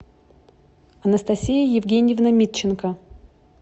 анастасия евгеньевна митченко